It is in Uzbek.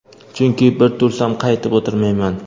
chunki bir tursam qaytib o‘tirmayman..